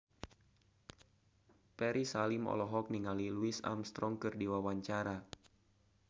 Ferry Salim olohok ningali Louis Armstrong keur diwawancara